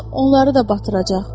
Yoxsa onları da batıracaq.